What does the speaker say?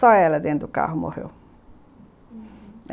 Só ela dentro do carro morreu, uhum.